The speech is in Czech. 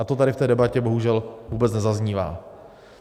A to tady v té debatě bohužel vůbec nezaznívá.